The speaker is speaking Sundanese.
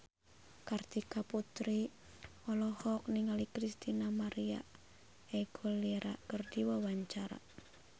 Kartika Putri olohok ningali Christina María Aguilera keur diwawancara